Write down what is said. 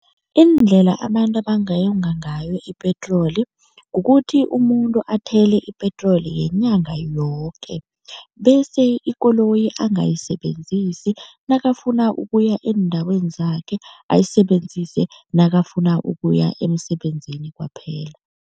Iindlela abantu abangayonga ngayo ipetroli kukuthi umuntu athele ipetroli yenyanga yoke bese ikoloyi angayisebenzisi nakafuna ukuya eendaweni zakhe, ayisebenzise nakafuna ukuya emsebenzini kwaphela.